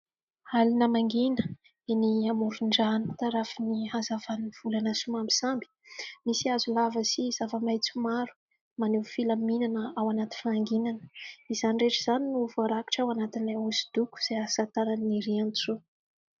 Alina mangina eny amoron-drano tarafin'ny hazavan'ny volana somambisamby, misy hazo lava sy zava-maitso maro maneho filaminana ao anaty fahanginana, izany rehetra izany no voarakitra ao anatin'ilay hosodoko izay asa tanan'i Nirintsoa.